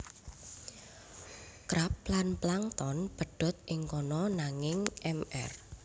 Krab lan Plankton pedot ing kono nanging Mr